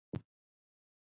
Þín Harpa Rut.